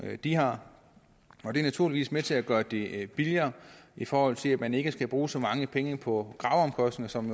de har det er naturligvis med til at gøre det billigere i forhold til at man ikke skal bruge så mange penge på graveomkostninger som